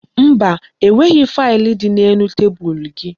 Mba, enweghi faịlụ dị n'elu tebulu gị